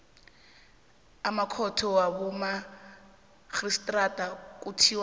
amakhotho wabomarhistrada kuthiwa